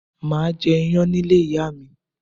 Máà jẹ iyán ní ilé ìyá mi